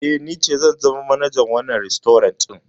Eh, ni ce zan zama manajar wannan rastorant ɗin.